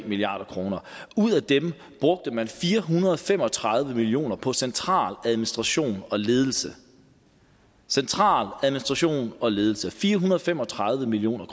milliard kroner ud af dem brugte man fire hundrede og fem og tredive million kroner på central administration og ledelse central administration og ledelse fire hundrede og fem og tredive million